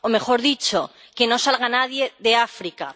o mejor dicho, que no salga nadie de África.